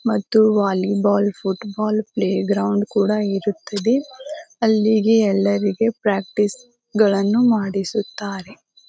ಮತ್ತು volleyball football play ground ಕೂಡ ಇರುತ್ತದೆ ಅಲ್ಲಿಗೆ ಎಲ್ಲರಿಗೆ ಪ್ರಾಕ್ಟೀಸ್ ಗಳನ್ನೂ ಮಾಡಿಸುತ್ತಾರೆ .